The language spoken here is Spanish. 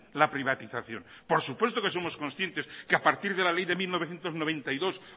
la privatización por supuesto que somos conscientes que a partir de la ley de mil novecientos noventa y dos